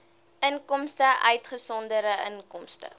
inkomste uitgesonderd inkomste